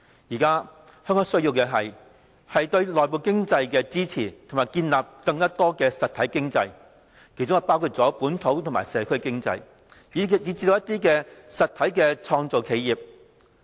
現在香港需要的是，支持內部經濟和建立更多實體經濟，包括本土和社區經濟，以及一些實體的創造企業。